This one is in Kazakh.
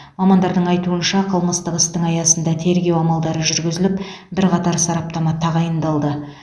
мамандардың айтуынша қылмыстық істің аясында тергеу амалдары жүргізіліп бірқатар сараптама тағайындалды